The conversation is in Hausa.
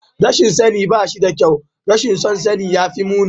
Rashin sani ba shi da kyau, rashin son sani ya fi muni